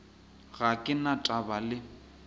ga ke na taba le